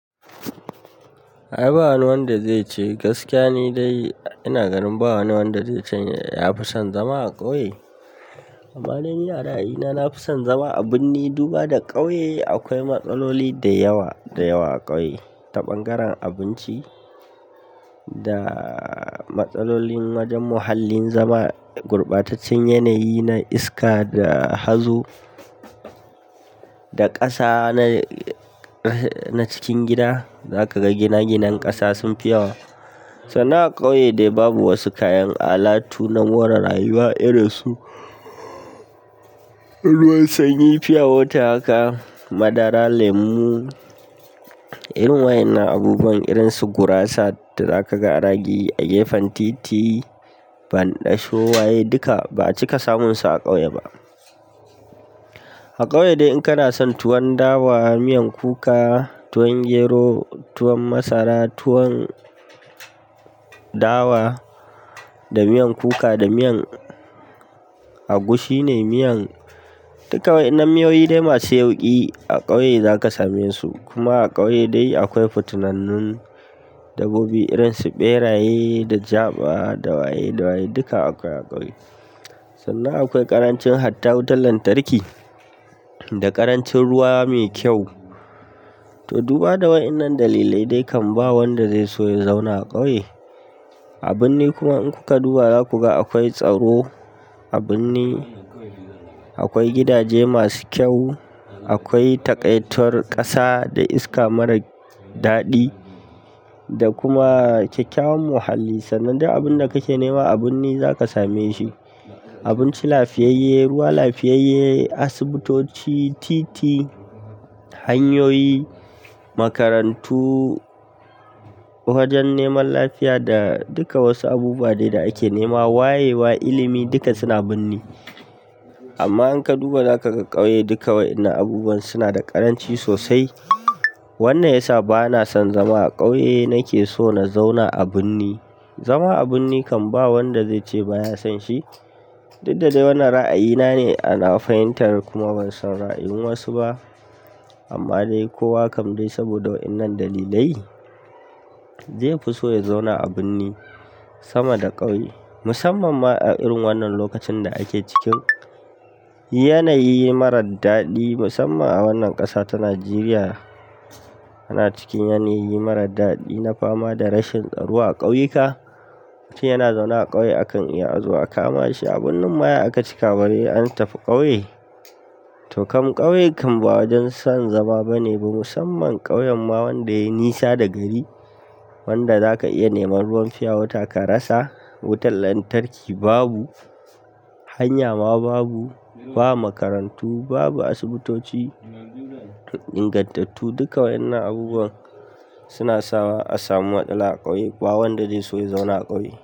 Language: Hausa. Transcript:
Ai ba wani wanda zai ce gaskiya ni dai ina ganin ba wani wanda zai ce ya fi son zama a ƙauye. Amma dai ni a ra'ayina nafi son zama a birni duba da ƙauye. Akwai matsaloli da yawa da yawa a ƙauye, ta bangaren abinci da matsalolin wajen muhallin zama, gurbataccen yanayi na iska da hazo da ƙasa na cikin gida. Za kaga ginaginan ƙasa sun fi yawa. Sannan a ƙauye dai babu wasu kayan alatu na more rayuwa irin su ruwan sanyi, pure water haka, madara, lemu, irin wayan na abubuwan irin su gurasa da za ka ga anayi a gefen titi, banɗasho, waye duka ba a cika samun su a ƙauye ba. A ƙauye dai in kana son tuwon dawa, miyan kuka, tuwon gero, tuwon masara, tuwon dawa da miyan kuka da miyan agushi ne, miyan duka waɗannan miyoyi dai masu yauƙi a ƙauye za ka same su. Kuma a ƙauye dai akwai fitinannu dabobi irin su ɓeraye da jaɓa da waye da waye duka akwai a ƙauye. Sannan akwai ƙarancin hatta wutar lantarki da ƙarancin ruwa mai kyau. To duba da wayen nan dalilai dai kan ba wanda zai so ya zauna a ƙauye. A birni kuma in kuka duba za ku ga akwai tsaro a birni, akwai gidaje masu kyau, akwai taƙaitar ƙasa da iska mara daɗi da kuma kyakkyawan muhalli. Sanan dai abin da kake nema a birni za ka same shi. Abinci lafiyayye, ruwa lafiyayye, asibitoci, titi, hanyoyi, makarantu, wajen neman lafiya da duka wasu abubuwa dai da ake nema wayewa, ilimi duka suna birni. Amma in ka duba za ka ga ƙauye duka waɗannan abubuwan suna da ƙaranci sosai. Wannan yasa ba na son zama a ƙauye, nake so na zauna a birni. Zama a birni kan ba wanda zai ce ba ya son shi. Duk da dai wannan ra'ayina ne, a nawa fahimtar kuma ban san ra'ayin wasu ba. Amma dai kowa kam dai saboda wayen nan dalilai zai fi so ya zauna a birni sama da ƙauye. Musamman ma a irin wannan lokacin da ake ciki. Yanayi mara daɗi musamman a wannan ƙasa ta Najeriya ana cikin yanayi mara daɗi na fama da rashin tsaro a kauyika. Mutum yana zaune a ƙauye akan iya a zo a kama shi a birnin ma ya aka cika bare an tafi ƙauye. To kam ƙauye kan ba wajen son zama ba ne ba, musamman ƙauyen ma wanda yayi nisa da gari wanda za ka iya neman ruwan pure water ka rasa, wutar lantarki babu, hanya ma babu, ba makarantu, babu asibitoci, ingantattu duka waɗannan abubuwan suna sawa a samu matsala a ƙauye. Ba wanda zai so ya zauna a ƙauye.